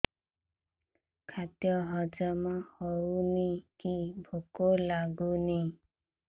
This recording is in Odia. ଖାଦ୍ୟ ହଜମ ହଉନି କି ଭୋକ ଲାଗୁନି